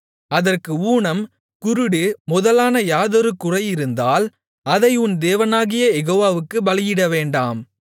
அதற்கு ஊனம் குருடு முதலான யாதொரு குறையிருந்தால் அதை உன் தேவனாகிய யெகோவாவுக்குப் பலியிட வேண்டாம்